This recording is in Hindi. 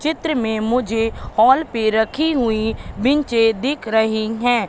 चित्र में मुझे हॉल पे रखी हुईं बिचें दिख रही हैं।